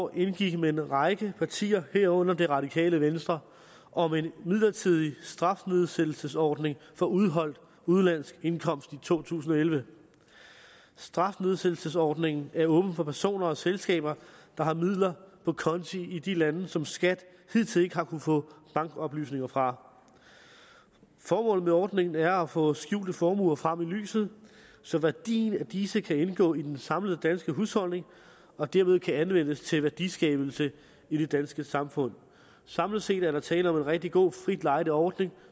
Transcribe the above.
år indgik med en række partier herunder det radikale venstre om en midlertidig strafnedsættelsesordning for udeholdt udenlandsk indkomst i to tusind og elleve strafnedsættelsesordningen er åben for personer og selskaber der har midler på konti i de lande som skat hidtil ikke har kunnet få bankoplysninger fra formålet med ordningen er at få skjulte formuer frem i lyset så værdien af disse kan indgå i den samlede danske husholdning og derved anvendes til værdiskabelse i det danske samfund samlet set er der tale om en rigtig god frit lejde ordning